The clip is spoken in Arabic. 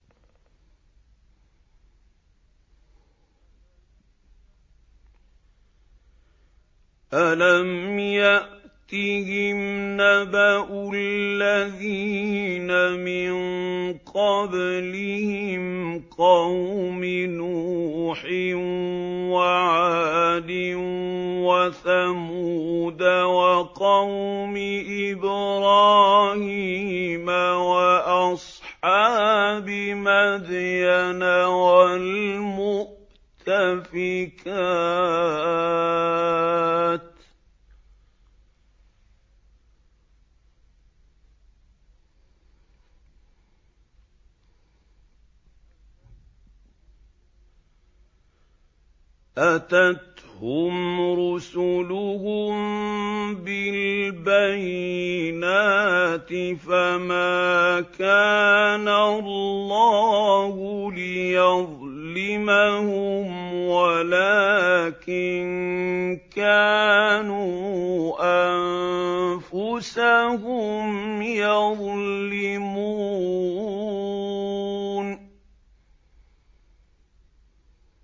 أَلَمْ يَأْتِهِمْ نَبَأُ الَّذِينَ مِن قَبْلِهِمْ قَوْمِ نُوحٍ وَعَادٍ وَثَمُودَ وَقَوْمِ إِبْرَاهِيمَ وَأَصْحَابِ مَدْيَنَ وَالْمُؤْتَفِكَاتِ ۚ أَتَتْهُمْ رُسُلُهُم بِالْبَيِّنَاتِ ۖ فَمَا كَانَ اللَّهُ لِيَظْلِمَهُمْ وَلَٰكِن كَانُوا أَنفُسَهُمْ يَظْلِمُونَ